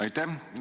Aitäh!